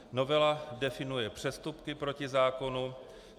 Novela definuje přestupky proti zákonu.